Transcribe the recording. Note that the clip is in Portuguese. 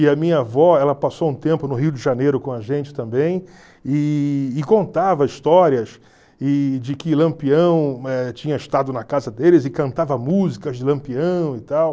E a minha avó ela passou um tempo no Rio de Janeiro com a gente também e e contava histórias e de que Lampião tinha estado na casa deles e cantava músicas de Lampião e tal.